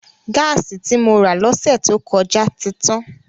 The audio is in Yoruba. Gáàsì tí mo rà lọ́sẹ̀ tó kọjá ti tán.